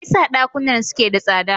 Me yasa dakunan suke da tsada?